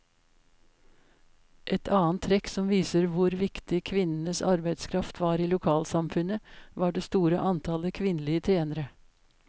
Et annet trekk som viser hvor viktig kvinnenes arbeidskraft var i lokalsamfunnet, var det store antallet kvinnelige tjenere.